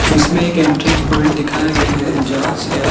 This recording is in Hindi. इसमें एक एंट्रेंस पॉइंट दिखाया गया है जहां से आप--